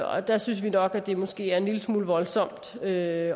og der synes vi nok det måske er en lille smule voldsomt at